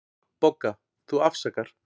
BOGGA: Þú afsakar.